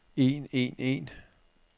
en en en